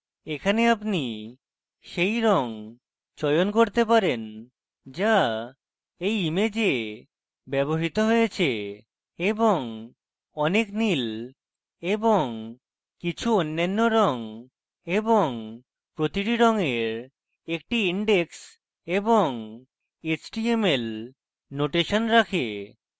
এখানে আপনি সেই রঙ চয়ন করতে পারেন যা এই image ব্যবহৃত হয়েছে এবং অনেক নীল এবং কিছু অন্যান্য রঙ এবং প্রতিটি রঙের একটি index এবং html নোটেশন রাখে